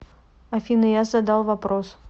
афина я задал вопрос